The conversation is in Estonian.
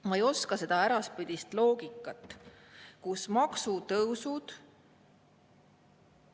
Ma ei oska seda äraspidist loogikat, kus maksutõusud …